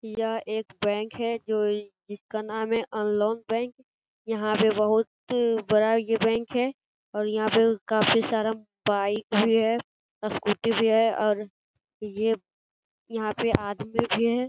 यह एक बैंक है जिसका नाम है अनलोन बैंक यहां पर बहुत ये बड़ा बैंक है और यहां पर काफी सारा बाइक भी है स्कूटी भी है और ये यहां पे आदमी भी है।